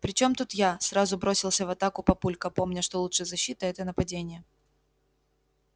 при чём тут я сразу бросился в атаку папулька помня что лучшая защита это нападение